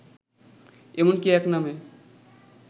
এমনকি এক নামে